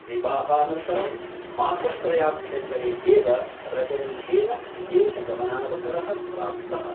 विवाहानन्तरं मासत्रयाभ्यन्तरे एव रजनीशेन विदेशगमनावसरः प्राप्तः ।